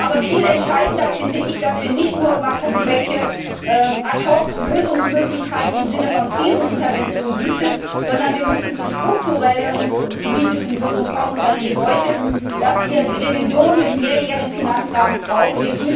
Aber viel entscheidender finde ich, dass wir nicht nur immer gucken, welche Ad hoc Lösungsmöglichkeiten es im Sinne von Krisenintervention gibt, sondern wir müssen zu strukturelleren politischen Lösungen kommen, und das bedeutet, dass wir die Revision des mehrjährigen Finanzrahmens brauchen.